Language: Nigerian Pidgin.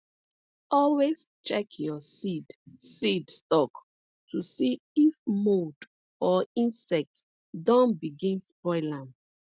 always check your seed seed stock to see if mould or insect don begin spoil am